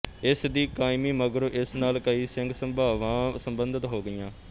ਇਸ ਦੀ ਕਾਇਮੀ ਮਗਰੋਂ ਇਸ ਨਾਲ ਕਈ ਸਿੰਘ ਸਭਾਵਾਂ ਸਬੰਧਤ ਹੋ ਗਈਆਂ